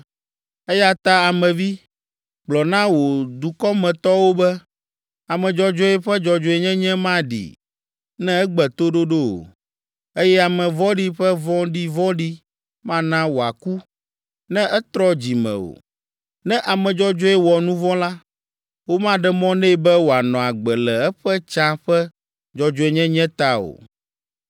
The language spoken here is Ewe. “Eya ta Ame vi, gblɔ na wò dukɔmetɔwo be, ‘Ame dzɔdzɔe ƒe dzɔdzɔenyenye maɖee, ne egbe toɖoɖo o, eye ame vɔ̃ɖi ƒe vɔ̃ɖivɔ̃ɖi mana wòaku, ne etrɔ dzi me o. Ne ame dzɔdzɔe wɔ nu vɔ̃ la, womaɖe mɔ nɛ be wòanɔ agbe le eƒe tsã ƒe dzɔdzɔenyenye ta o.’